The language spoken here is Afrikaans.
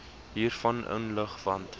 hiervan inlig want